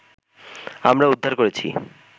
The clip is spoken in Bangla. আমরা উদ্ধার করেছি